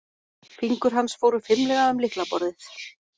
Fingur hans fóru fimlega um lyklaborðið.